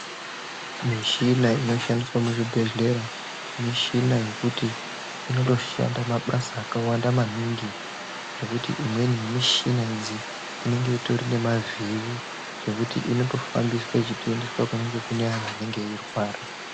Mishina inoshandiswa muzvibhedhlera mishina yekuti inotoshanda mabasa akawanda maningi zvekuti imweni yemushina idzi inenge ine zviri zvekuti inotoshandiswa kuendeswa kunenge kune antu anenge eirwara.